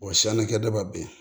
Wa siyankɛda ben